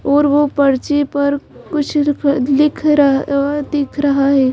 और वो पर्ची पर कुछ लिख र दिख रहा है।